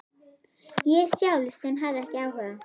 Ég sjálf sem hafði ekki áhuga.